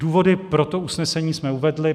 Důvody pro to usnesení jsme uvedli.